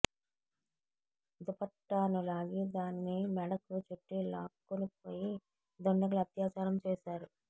దుపట్టాను లాగి దాన్ని మెడకు చుట్టి లాక్కునిపోయి దుండగులు అత్యాచారం చేశారు